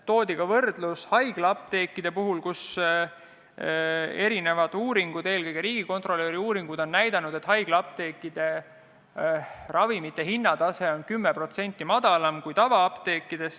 Toodi võrdlus haiglaapteekidega, mille puhul eri uuringud, eelkõige riigikontrolöri uuringud, on näidanud, et sealne ravimihinna tase on 10% madalam kui tavaapteekides.